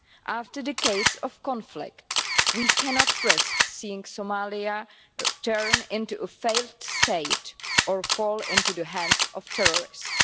After decades of conflict, we cannot risk seeing Somalia turn into a failed state or fall into the hands of terrorists.